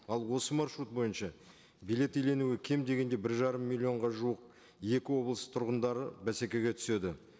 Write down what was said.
ал осы маршрут бойынша билет иеленуге кем дегенде бір жарым миллионға жуық екі облыс тұрғындары бәсекеге түседі